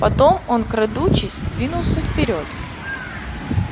потом он крадучись двинулся вперёд